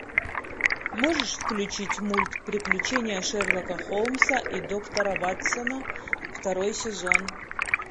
можешь включить мульт приключения шерлока холмса и доктора ватсона второй сезон